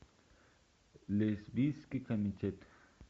лесбийский комитет